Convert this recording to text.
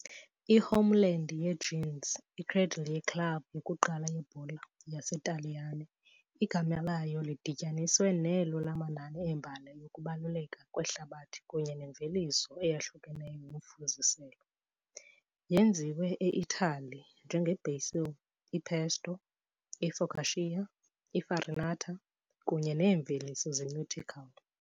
I-Homeland ye -jeans, i-cradle ye- club yokuqala yebhola yebhola yaseNtaliyane, igama layo lidibaniswe nelo lamanani embali yokubaluleka kwehlabathi kunye nemveliso eyahlukeneyo yomfuziselo "Yenziwe eItali" njenge- basil, i-pesto, i-focaccia, i- farinata kunye neemveliso ze-nautical.